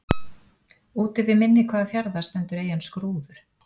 Úti við mynni hvaða fjarðar stendur eyjan Skrúður?